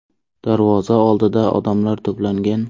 Darvoza oldida odamlar to‘plangan.